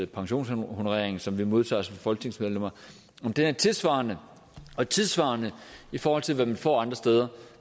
pensionshonoreringen som vi modtager som folketingsmedlemmer er tilsvarende og tidssvarende i forhold til hvad de får andre steder